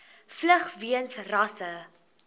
vlug weens rasse